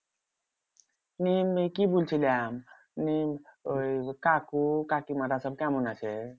নিয়ে কি বলছিলাম? নিয়ে ওই কাকু কাকিমারা সব কেমন আছে?